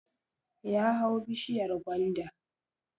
Ya hau bishiyar gwanda